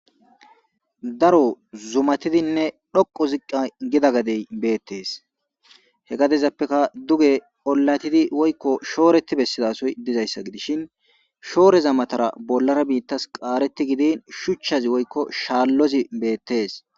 Daro zumatidinne dhoqo ziqqa gida gadey beettees he gadezappeka duge olatidi woykko shooreti bessidasoy dizayssa gidishin shooreza matara bollara biittas qaareti gidin shuchchazi woykko shaallozi beettees.